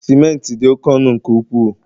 Simenti di oke ọnu nke ukwuu